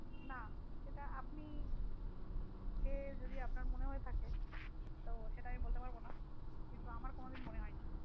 না সেটা আপনি খেয়ে যদি আপনার মনে হয়ে থাকে তো সেটা আমি বলতে পারবো না কিন্তু আমার কোনো দিন মনে হয়নি।